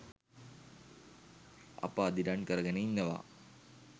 අප අදිටන් කරගෙන ඉන්නවා